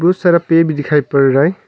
कुछ सारा पे भी दिखाई पड़ रहा है।